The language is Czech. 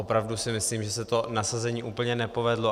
Opravdu si myslím, že se to nasazení úplně nepovedlo.